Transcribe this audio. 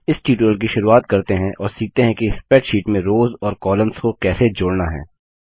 इस ट्यूटोरियल की शुरुआत करते हैं और सीखते हैं कि स्प्रैडशीट में रोव्स और कॉलम को कैसे जोड़ना है